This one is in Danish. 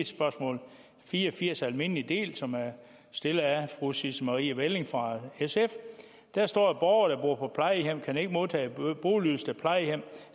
spørgsmål fire og firs almindelig del som er stillet af fru sisse marie welling fra sf at der står at borgere der bor på plejehjem ikke kan modtage boligydelse da plejehjem